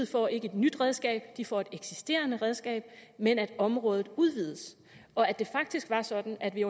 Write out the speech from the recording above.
får et nyt redskab at de får et eksisterende redskab men at området udvides og at det faktisk var sådan at vi